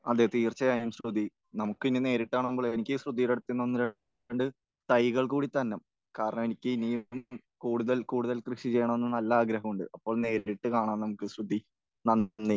അതെ. തീർച്ചയായും, ശ്രുതി. നമുക്ക് ഇനി നേരിട്ട് കാണുമ്പോഴേ എനിക്ക് ശ്രുതിയുടെ അടുത്ത് നിന്ന് ഒന്ന് രണ്ട് തൈകൾ കൂടി തരണം. കാരണം എനിക്ക് ഇനിയും കൂടുതൽ കൂടുതൽ കൃഷി ചെയ്യണമെന്ന് നല്ല ആഗ്രഹമുണ്ട്. അപ്പോൾ നേരിട്ട് കാണാം നമുക്ക്, ശ്രുതി. നന്ദി.